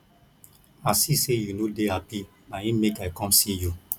i see sey you no dey hapi na im make i com see you